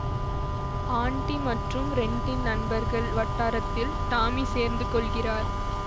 aunty மற்றும் ரெட்டின் நண்பர்கள் வட்டாரத்தில் டாமி சேர்ந்து கொள்கிறார்